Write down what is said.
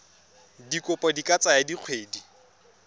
dikopo di ka tsaya dikgwedi